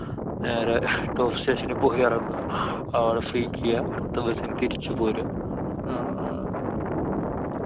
നേരെ top station നിൽ പോയി ഇറങ്ങുക. അവടെ freak ചെയ്യാ. അടുത്ത bus നു തിരിച്ചു പോരുക. ആഹ്